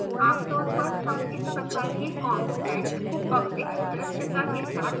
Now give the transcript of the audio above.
आमतौर पर हम इस प्रकार के constants को public दृश्यता के साथ घोषित करते हैं